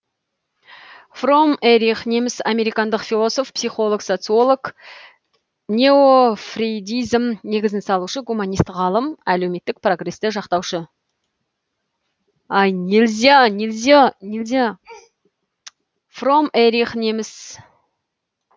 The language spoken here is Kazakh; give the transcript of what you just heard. фромм эрих неміс американдық философ психолог социолог неофрейдизм негізін салушы гуманист ғалым әлеуметтік прогресті жақтаушы